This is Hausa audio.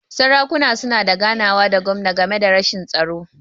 Sarakuna suna da ganawa da gwamna game da rashin tsaro.